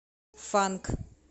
фанк